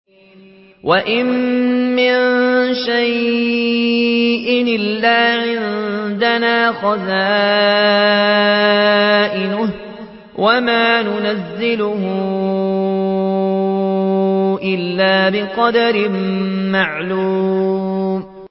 وَإِن مِّن شَيْءٍ إِلَّا عِندَنَا خَزَائِنُهُ وَمَا نُنَزِّلُهُ إِلَّا بِقَدَرٍ مَّعْلُومٍ